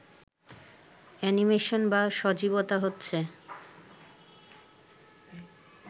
animation বা সজীবতা হচ্ছে